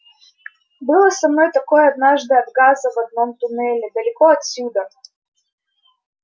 было со мной такое однажды от газа в одном туннеле далеко отсюда